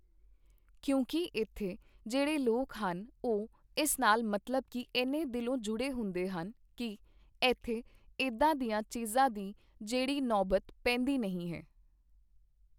ਕਿਉਂਕਿ ਇੱਥੇ ਜਿਹੜੇ ਲੋਕ ਹਨ ਉਹ ਇਸ ਨਾਲ ਮਤਲਬ ਕਿ ਐਨੇ ਦਿਲੋਂ ਜੁੜੇ ਹੁੰਦੇ ਹਨ ਕਿ ਇੱਥੇ ਇੱਦਾਂ ਦੀਆਂ ਚੀਜ਼ਾਂ ਦੀ ਜਿਹੜੀ ਨੌਬਤ ਪੈਂਦੀ ਨਹੀਂ ਹੈ